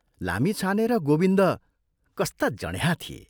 लामिछाने र गोविन्द कस्ता जँड्याहा थिए।